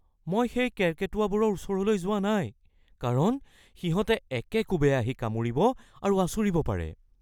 মই সেই কেৰ্কেটুৱাবোৰৰ ওচৰলৈ যোৱা নাই কাৰণ সিহঁতে একেকোবে আহি কামুৰিব আৰু আঁচুৰিব পাৰে। (ব্যক্তি ২)